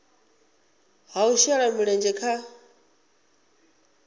ha u shela mulenzhe kha